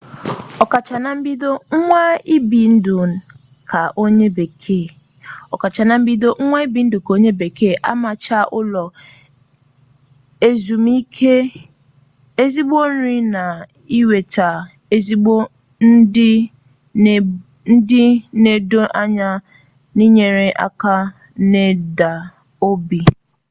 okacha na mbido nwaa ibi ndu ka onye bekee omaricha ulo ezumike ezigbo nri na inweta ezigbo ndi nnedo anya n'enyere aka imeda obi